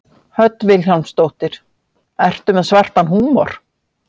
Hödd Vilhjálmsdóttir: Ertu með svartan húmor?